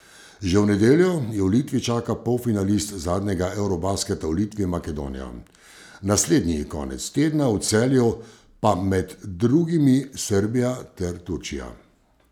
Že v nedeljo jo v Litiji čaka polfinalist zadnjega eurobasketa v Litvi Makedonija, naslednji konec tedna v Celju pa med drugimi Srbija ter Turčija.